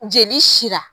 Jeli sira